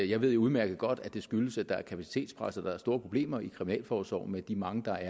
jeg ved jo udmærket godt at det skyldes at der er kapacitetpres og at der er store problemer i kriminalforsorgen med de mange der